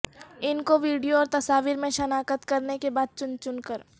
ان کو ویڈیو اور تصاویر میں شناخت کرنے کے بعد چن چن کر